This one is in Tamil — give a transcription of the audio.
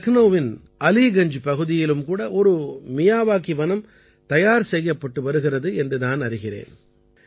லக்னௌவின் அலீகஞ்ஜ் பகுதியிலும் கூட ஒரு மியாவாகி வனம் தயார் செய்யப்பட்டு வருகிறது என்று நான் அறிகிறேன்